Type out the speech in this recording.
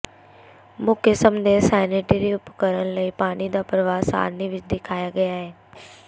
ਮੁੱਖ ਕਿਸਮ ਦੇ ਸੈਨੀਟਰੀ ਉਪਕਰਨ ਲਈ ਪਾਣੀ ਦਾ ਪ੍ਰਵਾਹ ਸਾਰਣੀ ਵਿੱਚ ਦਿਖਾਇਆ ਗਿਆ ਹੈ